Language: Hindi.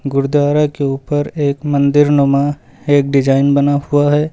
गुरुद्वारा के ऊपर एक मंदिर नुमा एक डिजाइन बना हुआ है।